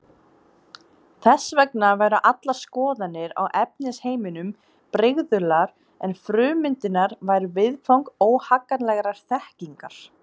Þess vegna væru allar skoðanir á efnisheiminum brigðular en frummyndirnar væru viðfang óhagganlegrar þekkingar.